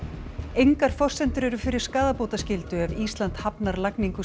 engar forsendur eru fyrir skaðabótaskyldu ef Ísland hafnar lagningu